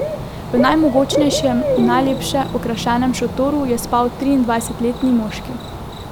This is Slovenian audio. V najmogočnejšem in najlepše okrašenem šotoru je spal triindvajsetletni moški.